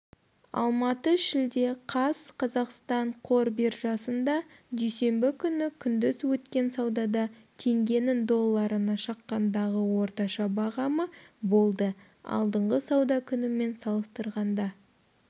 алматы шілде қаз қазақстан қор биржасында дүйсенбі күні күндіз өткен саудада теңгенің долларына шаққандағы орташа бағамы болды алдыңғы сауда күнімен салыстырғанда